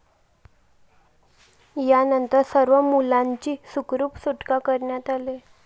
यानंतर सर्व मुलांची सुखरूप सुटका करण्यात आली